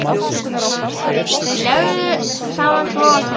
Leggðu saman tvo og tvo.